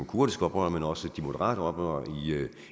kurdiske oprørere men også de moderate oprørere